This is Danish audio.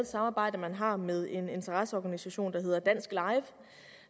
samarbejde man har med en interesseorganisation at hedder dansk live